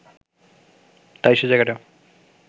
তাই সেই জায়গাটা